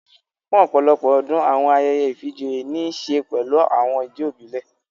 Fún ọ̀pọ̀lọpọ̀ ọdún, àwọn ayẹyẹ ìfijoyé ní ń ṣe pẹlu àwọn ijó ìbílẹ̀